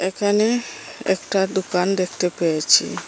এখানে একটা দোকান দেখতে পেয়েছি।